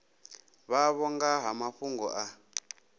vhavho nga ha mafhungo a